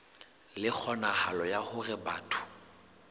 le kgonahalo ya hore batho